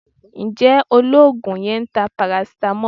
Ǹjẹ́ Olóògùn yẹn ń ta paracetamol?